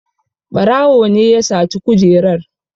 Ɓarawo ne ya saci kujerar.